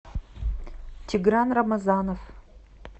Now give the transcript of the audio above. тигран рамазанов